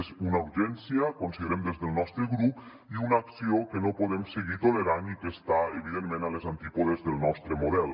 és una urgència considerem des del nostre grup i una acció que no podem seguir tolerant i que està evidentment a les antípodes del nostre model